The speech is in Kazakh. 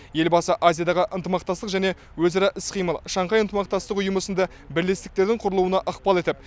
елбасы азиядағы ынтымақтастық және өзара іс қимыл шанхай ынтымақтастық ұйымы сынды бірлестіктердің құрылуына ықпал етіп